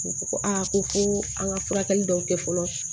U ko ko a ko ko an ka furakɛli dɔw kɛ fɔlɔ